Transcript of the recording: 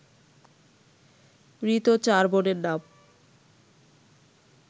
মৃত চার বোনের নাম